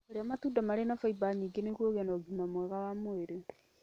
Iria matunda marĩa marĩ na fiber nyingĩ nĩguo ũgĩe na ũgima mwega wa mwĩrĩ.